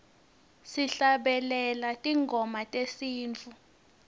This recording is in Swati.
sihlabelele tingoma tesintfu